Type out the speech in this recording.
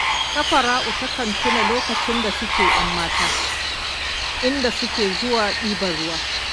Safara'u takan tuna lokacin da suke 'yan mata, inda suke zuwa ɗibar ruwa